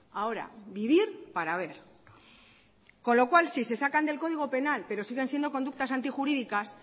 ahora vivir para ver con lo cual si se sacan del código penal pero siguen siendo conductas antijurídicas